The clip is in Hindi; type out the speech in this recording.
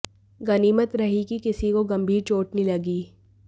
गनीमत रही कि किसी को गंभीर चोट नहीं लगी